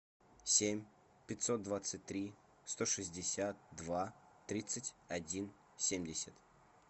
семь пятьсот двадцать три сто шестьдесят два тридцать один семьдесят